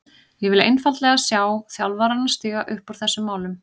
Ég vil einfaldlega sjá þjálfarana stíga upp í þessum málum.